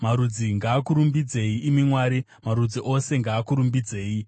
Marudzi ngaakurumbidzei, imi Mwari; marudzi ose ngaakurumbidzei.